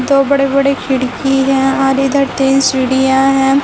दो बड़े बड़े खिड़की हैं और इधर तीन सीढ़ियां हैं।